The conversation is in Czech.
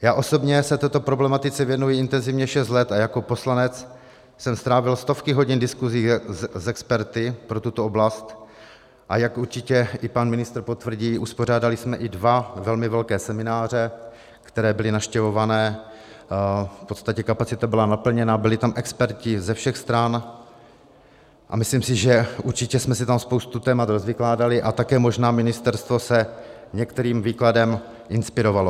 Já osobně se této problematice věnuje intenzivně šest let a jako poslanec jsem strávil stovky hodin diskusí s experty pro tuto oblast, a jak určitě i pan ministr potvrdí, uspořádali jsme i dva velmi velké semináře, které byly navštěvované, v podstatě kapacita byla naplněna, byli tam experti ze všech stran a myslím si, že určitě jsme si tam spoustu témat rozvykládali a také možná ministerstvo se některým výkladem inspirovalo.